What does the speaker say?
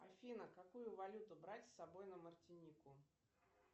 афина какую валюту брать с собой на мартинику